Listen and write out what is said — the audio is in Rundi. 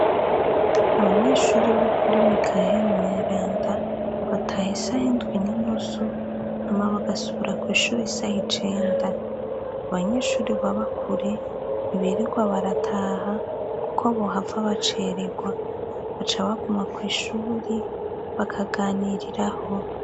Abanyeshuri ba kuri mikaheri mweranda bataha isahe indwi n'inusu hama bagasura kw'ishuri isaha icenda abanyeshuri babakure ntibirirwa barataha, kuko bohava bacererwa baca baguma kw'ishuri bakaganiriraho.